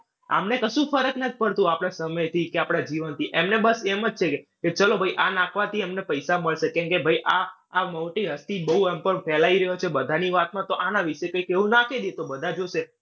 આમને કશું જ ફર્ક નથ પડતું. આપણા સમયથી કે આપણા જીવનથી. એમને બસ એમ જ છે કે ચલો ભઈ આ નાંખવાથી અમને પૈસા મળશે. કેમ કે ભાઈ આ આ મોટી હસ્તી બઉ એમ પણ ફેલાય રહ્યો છે બધાની વાતમાં તો આના વિશે કંઇક એવું નાંખી દઈએ. તો બધા જોશે.